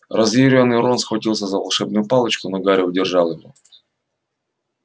разъярённый рон схватился за волшебную палочку но гарри удержал его